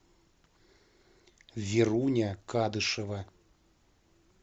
веруня кадышева